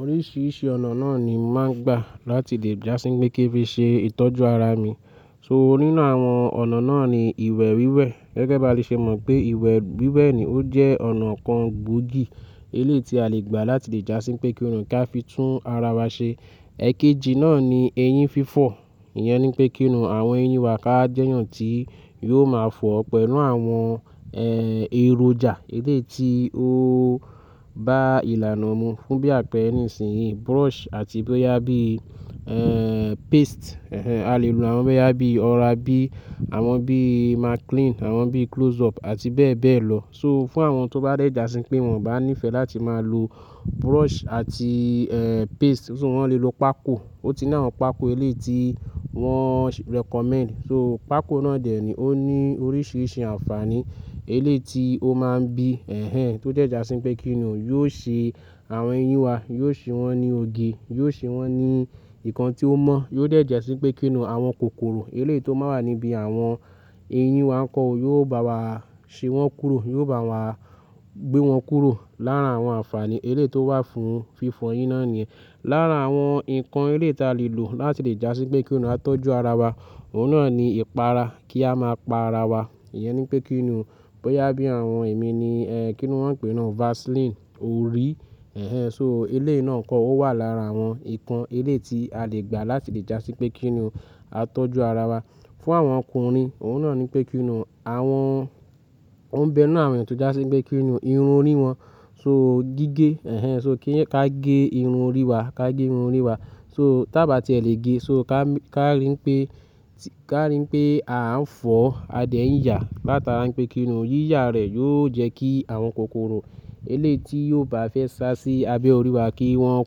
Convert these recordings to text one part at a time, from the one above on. Oríṣiríṣi ọ̀nà náà ni máà ń gbà láti lè jásí pé kí n fi ṣe ìtọ́jú ara mi. So nínú àwọn ọ̀nà náà ni ìwẹ̀ wíwẹ̀. Gẹ́gẹ́ ba le ṣe mọ̀ pé ìwẹ̀ wíwẹ̀ ni ó jẹ́ ọ̀nà kan gbòógì eléyii ti a le gbà láti lè jásí pé kí n ka fi tún ara wa ṣe. Ẹ̀kéjì náà ni eyín fífọ̀. Iyẹn ni i pé kínù àwọn eyín wa ká jẹ́yàn tí yóò máa fọ̀ pẹ̀lú àwọn, ẹ, èròjà eléyii ti ó bá ìlànà mu fún bí àpẹ́re nísìnyí, brush àti bóyá bií, ẹ, paste, ẹnhẹn, a lè lo àwọn bóyá bí Oral-B, àwọn bií Maclean, àwọn bií Close-up àti bẹ́ẹ̀ bẹ́ẹ̀ lọ. So fún àwọn tó bá dẹ̀ jásí pé wọn bá níìfẹ̀ láti máa lo brush àti, ẹ, paste, ṣó wọn lè lo pákó. Ó ti ni àwon pákó eléyii ti wọ́n recommend. So pákó náà dè ni ó ní oríṣiríṣi ànfaàní eléyii ti ó máà ń bí, ẹnhẹn, tó dẹ́ jásí n pé kíni o, yóò ṣe àwọn eyín wa, yóò ṣe wọ́n ní òge, yóò ṣe wọ́n ní nkan tí ó mọ́, yóò dẹ̀ jásí pé kínù àwọn kòkòrò eleyii tó máa n wà níbí àwọn eyín wa nkọ́ o, yóò bá wa ṣe wọ́n kúrò, yóò bá wa gbé wọn kúrò. Lára àwọn ànfàaní eléyii tó wà fún fífọ eyín náà niyẹn. Lára àwọn nǹkan eléyii tia lè lò láti lè jásí pé kí nù a tọ́jú ara wa, òun náà ni ìpara, kí a máa pa ara wa. Iyẹn ni n pé kínù bóyá bí àwọn èmi ni, ẹ, kíni wọ́n n pè é naa o, Vaseline, orí. Ẹnhẹn, so eléyiii náà nkọ́ ó, o wà lára àwọn nǹkan eléyii ti a lè gbà láti lè jásí pé kíni o, a tọ́jú ara wa. Fún àwọn ọkùnrin òun náà ni pé kínu àwọn, ó ń bẹ ninu àwọn eeyan tó jásípé kíni o irun orí wọn. So gígé, ẹnhẹn, so kí a gé irun orí wa, ká gé irun orí wa. So ta bá tiè lè gé, so ká, ká rí n pé, ká rí n pé a ń fọ a dẹ́ n yà a látara n pé kíni o yíyà rẹ̀ yóò jẹ́ kí àwọn kòkòrò eléyii ti yóò bá fẹ́ sá sí abẹ́ orí wa kí wọ́n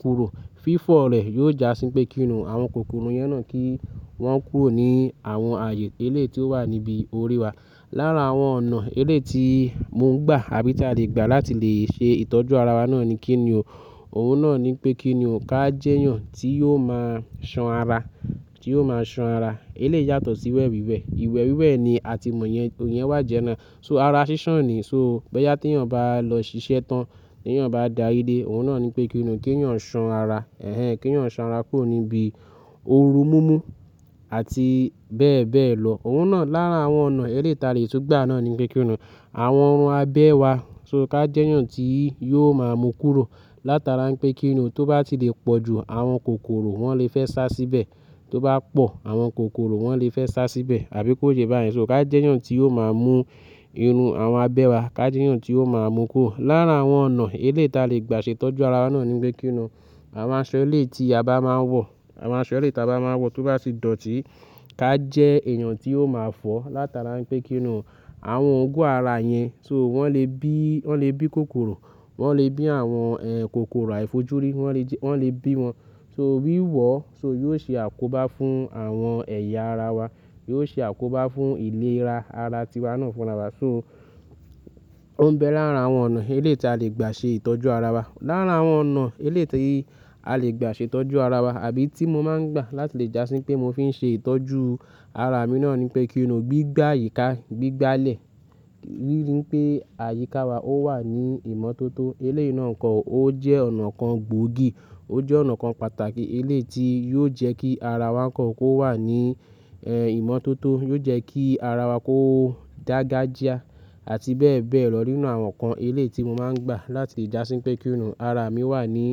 kúrò. Fífọ̀ rẹ̀ yóò jásí pé kíni o, àwọn kòkòrò yẹn náà kí wọ́n kúrò ní àwọn ààyè eléyii ti ó wà níbí orí wa. Lára àwọn ọ̀nà eléyii ti mo ń gbà àbí tí a lè gbà láti lè ṣe ìtọ́jú ara wa náà ni kíni o, òun náà ni pé kíni o, ká jẹ́eyàn tí yóò máa ṣan ara, tí yóò máa ṣan ara. Eléyii yàtọ̀ síwẹ̀ wíwẹ̀. Ìwẹ̀ wíwẹ̀ ni a ti mọ̀yẹn, iyen wà general. So ara sísàn ni, so bóyá tèèyàn bá lọ ṣiṣẹ́ tán, tèèyàn bá dàri dé, òun náà ni pé kíni o, kèèyàn ṣan ara, ẹnhẹn, kèèyàn ṣan ara kúrò níbí òru mú mú àti bẹ́ẹ̀ bẹ́ẹ̀ lọ. Òun náà lára àwọn ọ̀nà eléyii ta lè tun gbà náà ni pé kíni, àwọn irùn abẹ́ wa, so ká jẹ́yàn tí yóò máa mú kúrò látara n pé kíni o, tó bá ti lè pọ̀ ju àwọn kòkòrò wọ́n lè fẹ́ sá síbẹ̀. Tó bá pọ̀ àwọn kòkòrò wọ́n lè fẹ́ sá síbẹ̀ àbí kó ṣe báyìí. So ká jẹ́yàn tí yóò máa mú irun àwọn abẹ́ wa, ká jẹ́yàn tí yóò máa mú kúrò. Lára àwọn ọ̀nà eléeti a lè gbà ṣetọ́jú ara wa náà ni pé kíni o, àwọn aṣọ eléyii ti a bá máa ń wọ̀, àwọn aṣọ eléyii ta bá máa ń wọ̀ tó bá ti dọ̀tí ká jẹ́ èèyàn tí yóò máa fọ̀ o látara n pé kíni o, àwọn oògun ara yẹn, so wọ́n lè bí, wọ́n lè bí kòkòrò, wọ́n lè bí àwọn, ẹ, kòkòrò àìfojúrí, wọ́n lè ji, wọ́n lè bí wọn. So wíwọ ọ́, so yóò ṣe àkóbá fún àwọn ẹ̀yà ara wa, yóò ṣe àkóbá fún ìlera ara tíwa náà fúnra wa. So ó ń bẹ lára àwọn ọ̀nà eléyii ti a lè gbà ṣe ìtọ́jú ara wa. Lára àwọn ọ̀nà eléyii ti a lè gbà ṣe ìtọ́jú ara wa àbí tí mo máa ń gbà láti lè jásí pé mo fi ń ṣe ìtọ́jú ara mi náà ni pé kíni o gbígbá àyíká, gbígbálẹ̀. Rírí n pé àyíká wa ó wà ní ìmọ̀tótó. Eléyii náà nkọ́ o, ó jẹ́ ọ̀nà kan gbòógì, ó jẹ́ ọ̀nà kan pàtàkì eléyii ti yóò jẹ́ kí ara wa nkọ́ o, kó wà ní, ẹ, ìmọ̀tótó, yóò jẹ́ kí ara wa kó dàngajịa àti bẹ́ẹ̀ bẹ́ẹ̀ lọ. Nínú àwọn nǹkan eléyii ti mo máa ń gbà láti jásí pé kíni o, ara mi wà ní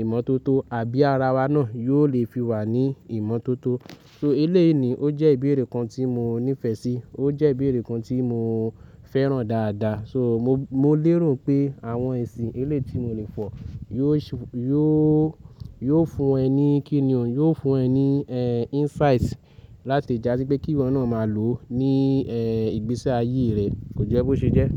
ìmọ̀tótó àbí ara wa náà yóò lè fi wà ní ìmọ̀tótó. So eléyii ni i, ó jẹ́ ìbéèrè kan tí mo níìfẹ̀ sí, ó jẹ́ ìbéèrè kan tí mo fẹ́ràn dáadáa. So mo, mo lèrò pé àwọn esì eléyii ti mo lè fọ̀ yóò ṣe, yóò, yóò fún ẹ ní kíni o, yóò fún ẹ ní, ẹ, insight láti jásí pé kíwọ náà máa lò ó ní, ẹ, ìgbésí ayé rẹ, kò jẹ́ bó ṣe jẹ́.